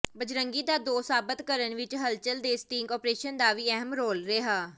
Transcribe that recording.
ਬਜਰੰਗੀ ਦਾ ਦੋਸ਼ ਸਾਬਤ ਕਰਨ ਵਿੱਚ ਹਲਚਲ ਦੇ ਸਟਿੰਗ ਆਪਰੇਸ਼ਨ ਦਾ ਵੀ ਅਹਿਮ ਰੋਲ ਰਿਹਾ